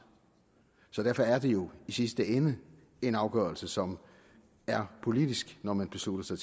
så derfor er det jo i sidste ende en afgørelse som er politisk når man beslutter